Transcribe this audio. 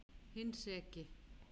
Hinn seki.